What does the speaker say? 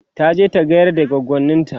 taje ta gayar da goggonint